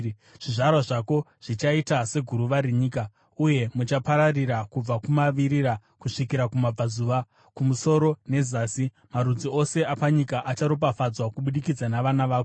Zvizvarwa zvako zvichaita seguruva renyika, uye muchapararira kubva kumavirira kusvikira kumabvazuva, kumusoro nezasi. Marudzi ose apanyika acharopafadzwa kubudikidza navana vako.